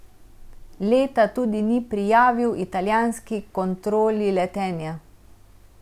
Leta tudi ni prijavil italijanski kontroli letenja.